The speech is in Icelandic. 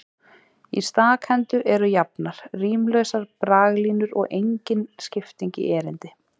Í stakhendu eru jafnar, rímlausar braglínur og engin skipting í erindi.